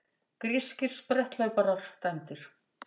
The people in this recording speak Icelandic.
Grískir spretthlauparar dæmdir